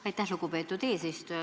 Aitäh, lugupeetud eesistuja!